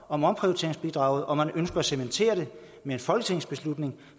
om omprioriteringsbidraget og man ønsker at cementere det